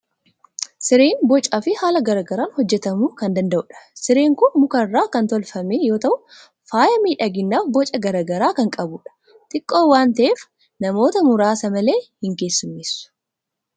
Sireen bocaa fi haala garaa garaan hojjetamuu kan danda'udha. Sireen kun muka irraa kan tolfame yoo ta'u, faaya miidhaginaaf boca garaa garaa kan qabudha. Xiqqoo waan ta'eef, amoota muraasa malee hin keessummeessu.